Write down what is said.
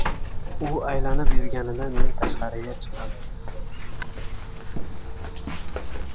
U aylanib yurganida, men tashqariga chiqdim.